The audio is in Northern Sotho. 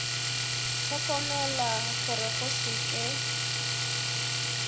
hlokomela gore go se ke